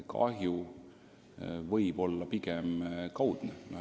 Kahju võib olla pigem kaudne.